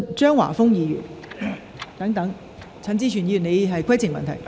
張華峰議員，請提出你的主體質詢。